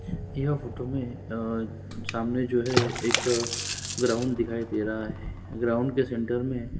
यह फोटो में अअअ सामने जो है एक ग्राउंड दिखाई दे रहा है ग्राउंड के सेंटर में--